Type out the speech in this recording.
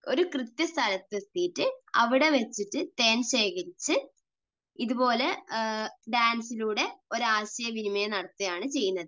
ഒരു കൃത്യ സ്ഥലത്തെത്തിയിട്ട് അവിടെ വച്ചിട്ട് തേൻ ശേഖരിച്ച് ഇതുപോലെ ഡാൻസിലൂടെ ഒരു ആശയവിനിമയം നടത്തുകയാണ് ചെയ്യുന്നത്.